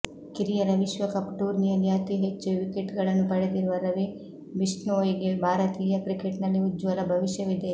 ಕಿರಿಯರ ವಿಶ್ವಕಪ್ ಟೂರ್ನಿಯಲ್ಲಿ ಅತಿ ಹೆಚ್ಚು ವಿಕೆಟ್ಗಳನ್ನು ಪಡೆದಿರುವ ರವಿ ಬಿಷ್ಣೋಯಿಗೆ ಭಾರತೀಯ ಕ್ರಿಕೆಟ್ನಲ್ಲಿ ಉಜ್ವಲ ಭವಿಷ್ಯವಿದೆ